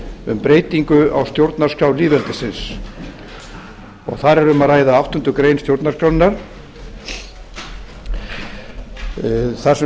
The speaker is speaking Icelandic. um breytingu á stjórnarskrá lýðveldisins þar er um að ræða áttundu grein stjórnarskrárinnar þar sem fjallað